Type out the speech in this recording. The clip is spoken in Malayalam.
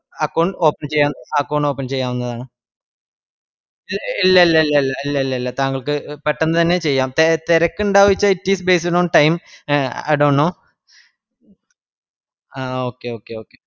account open account open ചെയ്യാവുന്നതാണ് ഇല്ലല്ലല്ല ഇല്ലല്ലല തെരക്ക് ഇണ്ടാവൂലാ it is based on time I dont know ആ ഓ okay okay okay